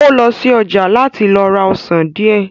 Ó lọ sí ọjà láti lọ ra ọsàn díẹ̀